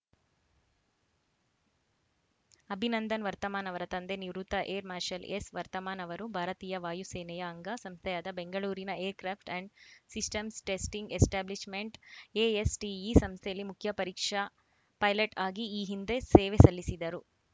ಅಭಿನಂದನ್‌ ವರ್ತಮಾನ್‌ ಅವರ ತಂದೆ ನಿವೃತ್ತ ಏರ್‌ ಮಾರ್ಷಲ್‌ ಎಸ್‌ ವರ್ತಮಾನ್‌ ಅವರು ಭಾರತೀಯ ವಾಯುಸೇನೆಯ ಅಂಗ ಸಂಸ್ಥೆಯಾದ ಬೆಂಗಳೂರಿನ aircraft and systems testing establishment ASTE ಸಂಸ್ಥೆಯಲ್ಲಿ ಮುಖ್ಯ ಪರೀಕ್ಷಾ ಪೈಲಟ್‌ ಆಗಿ ಈ ಹಿಂದೆ ಸೇವೆ ಸಲ್ಲಿಸಿದ್ದರು